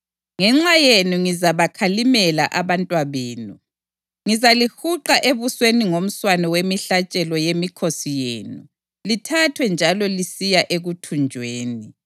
Ngenxa yenu ngizabakhalimela abantwabenu; ngizalihuqa ebusweni ngomswane wemihlatshelo yemikhosi yenu lithathwe linjalo lisiya ekuthunjweni.